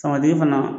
Samadeki fana